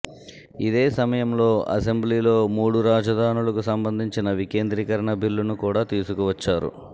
ఇదే సమయంలో అసెంబ్లీలో మూడు రాజధానులకు సంబంధించిన వికేంద్రీకరణ బిల్లును కూడా తీసుకు వచ్చారు